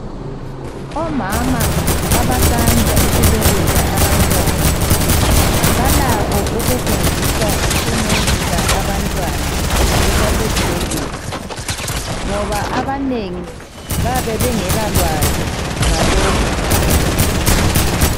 Omama abasanda ukubeletha abantwana balakho ukufundiswa ukuncelisa abantwana besasesibhedlela ngoba abanengi bayabe bengala lwazi ngalokhu.